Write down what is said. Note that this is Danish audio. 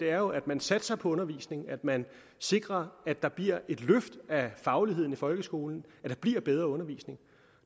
er jo at man satser på undervisningen at man sikrer at der bliver et løft af fagligheden i folkeskolen at der bliver bedre undervisning